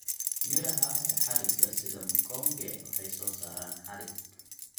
Midhaha ee xadhigga sida mkonge waxay soo saaraan xadhig.